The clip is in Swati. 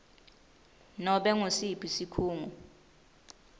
nobe ngusiphi sikhungo